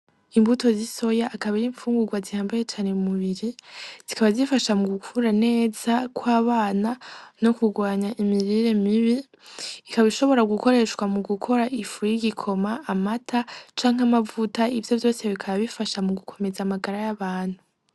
Imbuto z 'isoya akaba ar'imfungurwa zihambaye cane mu mubiri, zikaba zifasha mugukura neza kw'abana no kugwanya imirire mibi, ikaba ishobora gukoreshwa mu gukora ifu yigikoma, amata canke amavuta, ivyo vyose bikaba bifasha mu gukomeza amagara y'abantu.